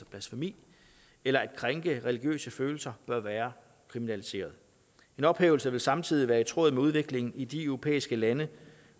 blasfemi eller at krænke religiøse følelser bør være kriminaliseret en ophævelse vil samtidig være i tråd med udviklingen i de europæiske lande